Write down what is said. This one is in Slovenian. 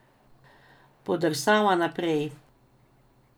Podrsava naprej.